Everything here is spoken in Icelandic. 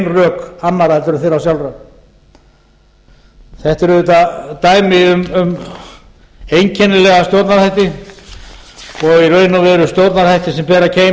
rök annarra en þeirra sjálfra þetta er auðvitað dæmi um einkennilega stjórnarhætti og eru í raun og veru stjórnarhættir sem bera keim